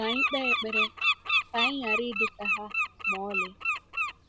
Ka anyị kpe ekpere ka anyị ghara ịdị ka ha ma ọlị.